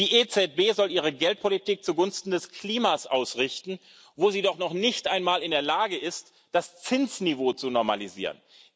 Die EZB soll ihre Geldpolitik zugunsten des Klimas ausrichten, wo sie doch noch nicht einmal in der Lage ist, das Zinsniveau zu normalisieren.